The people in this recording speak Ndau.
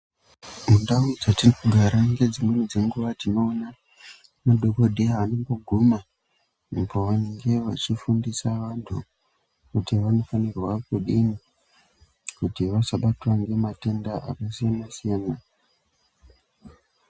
Mundau dzetinogara dzimweni dzenguwa tinoona madhokodheya anomboguma app pavanenge vachifundisa vantu kuti vanofanirwa kudini kuti vasabatwa ngematenda akasiyana siyana.